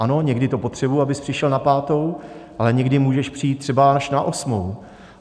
Ano, někdy to potřebuji, abys přišel na pátou, ale někdy můžeš přijít třeba až na osmou.